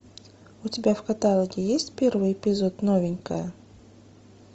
у тебя в каталоге есть первый эпизод новенькая